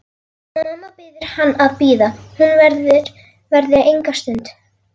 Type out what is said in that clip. Mamma biður hann að bíða, hún verði enga stund.